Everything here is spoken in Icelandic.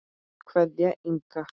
Kveðja, Inga.